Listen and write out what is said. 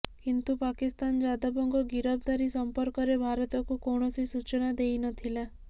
କିନ୍ତୁ ପାକିସ୍ତାନ ଯାଦବଙ୍କ ଗିରଫଦାରୀ ସମ୍ପର୍କରେ ଭାରତକୁ କୌଣସି ସୂଚନା ଦେଇ ନଥିଲା